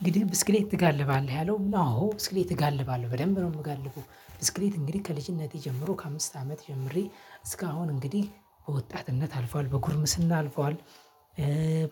እንግዲህ ብስክሌት ትጋልባለህ ያለው አዎ ብስክሌት እጋልባለህ በደንብ ነው የምጋልበው ብስክሌት እንግዲህ ከልጅነቴ ጀምሮ ከአምስት አመት ጀምሬ እስካሁን እንግዲህ በወጣትነት አልፏል በጉርምስና አልፏል።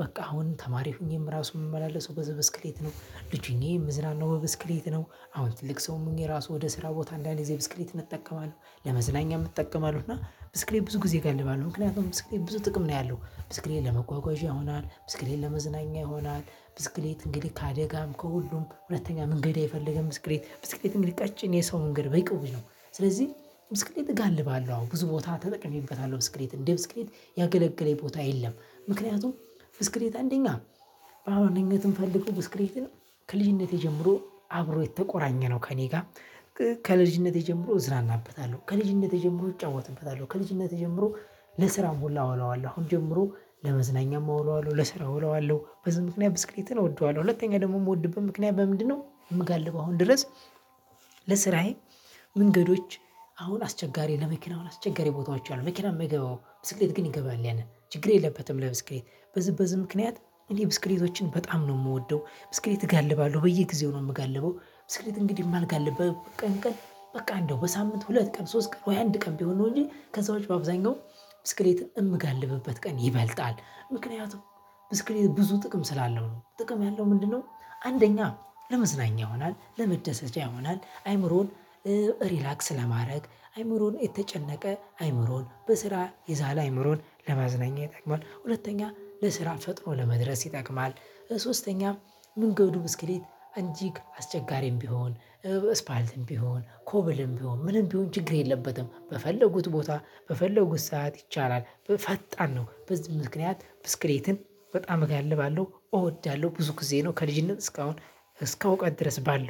በቃ አሁን ተማሪ ሆኜም ራሱን የምመላለሰው በብስክሌት ነው ልጅ ሆኜ የምዝናናው በብስክሌት ነው። አሁን ትልቅ ሰው ምኜ ራሱ ወደ ስራ ቦታ እንዳንድ ጊዜ ብስክሌት እጠቀማለሁ ለመዝናኛ እጠቀማለሁ። እና ብስክሌት ብዙ ጊዜ እገልባለሁ ምክንያቱም ብዙ ጥቅም ነው ያለው ብዙ ጥቅም ለመጓጓዣ ይሆናል ብዙ ጥቅም ለመዝናኛ ይሆናል። ብስክሌት እንግዲህ ከአደጋም ከሁሉም ሁለተኛ መንገድ አይፈልግም ብስክሌት ብስክሌት ቀጭን የሰው መንገድ በይቅው ነው። ስለዚህ ብስክሌት እጋልባለሁ አሁን ብዙ ቦታ ተጠቅሜበታለሁ ብስክሌት እንደ ብስክሌት ያገለገለኝ ቦታ የለም። ምክንያቱም ብስክሌት አንደኛ በአዋነኝት ትንፈልገው ብስክሌት ከልጅነቴ ጀምሮ አብሮ የተቆራኘ ነው ከእኔ ጋር። ከልጅነቴ ጀምሮ እዝናናበታለሁ ከልጅነቴ ጀምሮ እጫወትበታለሁ ከልጅነቴ ጀምሮ ለስራ ሁላ አውለዋለሁ አሁን ጀምሮ ለመዝናኛም አውለዋለሁ ለስራ አውለዋለሁ በዚህ ምክንያት ብስክሌትን እወደዋለሁ። ሁለተኛ ደግሞ የምወድብን ምክንያት በምንድነው የምጋልበው አሁን ድረስ? ለስራዬ መንገዶች አሁን አስቸጋሪ ለመኪና አስቸጋሪ ቦታዎች አሉ መኪና የማይገባው ብስክሌት ግን ይገባል ያንን ችግር የለበትም። ለብስክሌት በዝ በዝ ምክንያት እኔ ብስክሌቶችን በጣም ነው የምወደው። ብስክሌት እጋልባለሁ በየጊዜው ነው የምጋልበው። ስልት እንግዲህ የማልጋልበው ቀን ቀን በቃ እንደው በሳምንት ሁለት ቀን ሶስት ቀን ወይ አንድ ቀን ቢሆን ነው እንጂ ከሰዎች በአብዛኛው ብስክሌት የምገልብበት ቀን ይበልጣል። ምክንያቱም ብስክሌት ብዙ ጥቅም ስላለው ነው ጥቅም ያለው ምንድነው? አንደኛ ለመዝናኛ ይሆናል ለመደሰጃ ይሆናል አይምሮን ሪላክስ ለማድረግ አይምሮን የተጨነቀ አይምሮን በስራ ይዛለ አይምሮን ለመዝናኛ ይጠቅማል ሁለተኛ ለስራ ፈጥኖ ለመድረስ ይጠቅማል። ሶስተኛም መንገዱ ብስክሌት እንጂ አስቸጋሪም ቢሆን ስፓልትም ቢሆን ኮብልም ቢሆን ምንም ቢሆን ችግር የለበትም። በፈለጉት ቦታ በፈለጉት ሰዓት ይቻላል። ፈጣን ነው በዚህ ምክንያት ብስክሌትን በጣም እጋልባለው እወዳለሁ። ብዙ ጊዜ ነው ከልጅነት እስካሁን እስከ እውቀት ድረስ ባለው